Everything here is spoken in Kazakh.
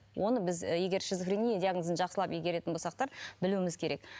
оны біз і егер шизофрения диагнозын жақсылап игеретін білуіміз керек